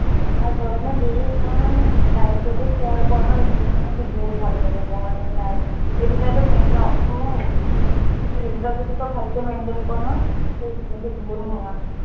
আৰু তই মানে daily তই মানে night তো care কৰ নহয় তোৰ skin খন বহুত ভাল হৈ থাকে। morning night এই দুটাইটো main ন, এই দুটা যদি তই ভালকে maintain কৰ নহয় তোৰ skin টো বহুত আহ ধুনীয়া হৈ থাকে।